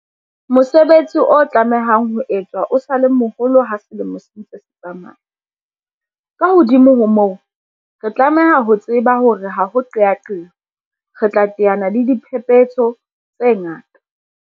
Mosebetsi o tlamehang ho etswa o sa le moholo ha selemo se ntse se tsamaya. Ka hodimo ho moo, re tlameha ho tseba hore ha ho qeaqeo, re tla teana le diphephetso tse ngata.